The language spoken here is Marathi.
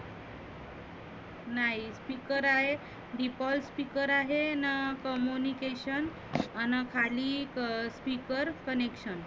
नाही speaker आहे, default speaker आहे, अनं communication खाली एक speaker connection